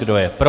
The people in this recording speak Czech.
Kdo je pro?